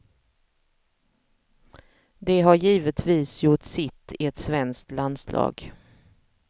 De har givetvis gjort sitt i ett svenskt landslag.